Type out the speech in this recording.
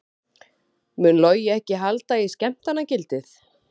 Mun Logi ekki halda í skemmtanagildið?